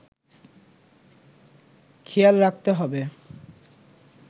খেয়াল রাখতে হবে